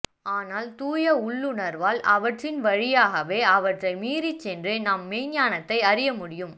ஆனால் தூய உள்ளுணர்வால் அவற்றின் வழியாகவே அவற்றை மீறிச்சென்றே நாம் மெய்ஞ்ஞானத்தை அறியமுடியும்